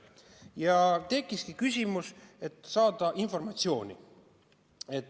Ja tekkiski küsimus, et saada informatsiooni.